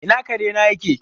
Ina kare na yake?